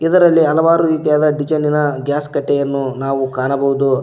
ಇದರಲ್ಲಿ ಹಲವಾರು ರೀತಿಯಾದ ಡಿಸೈನಿನ ಗ್ಯಾಸ್ ಕಟ್ಟೆಯನ್ನು ನಾವು ಕಾಣಬಹುದು.